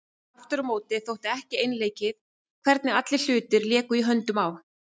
Aftur á móti þótti ekki einleikið hvernig allir hlutir léku í höndunum á